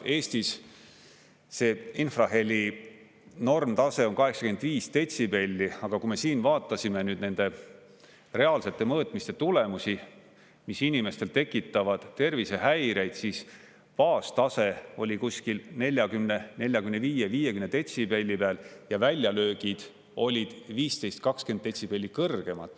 Eestis see infraheli normtase on 85 detsibelli, aga kui me siin vaatasime nende reaalsete mõõtmiste tulemusi, mis inimestel tekitavad tervisehäireid, siis baastase oli kuskil 40–45–50 detsibelli ja väljalöögid olid 15–20 detsibelli kõrgemad.